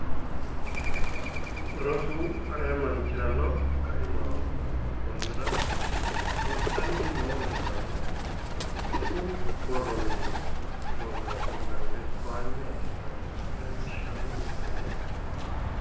Rosu ayee manchirano ka'imaho konnira rossanni noo rosaano rosu borro mini loosaasine dagge towaanyo assitanna leellishanno misileeti